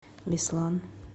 беслан